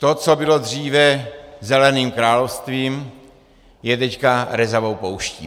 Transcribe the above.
To, co bylo dříve zeleným královstvím, je teď rezavou pouští.